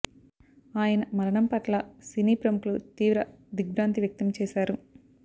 ఆయన మరణం పట్ల సినీ ప్రముఖులు తీవ్ర దిగ్ర్భాంతి వ్యక్తం చేశారు